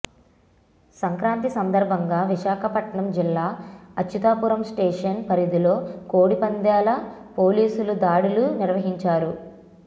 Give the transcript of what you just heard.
సంక్రాంతి సందర్భంగా విశాఖపట్నం జిల్లా అచ్యుతాపురం స్టేషన్ పరిధిలో కోడిపందేల పోలీసులు దాడులు నిర్వహించారు